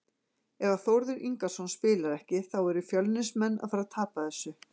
Ef að Þórður Ingason spilar ekki þá eru Fjölnismenn að fara að tapa þessu.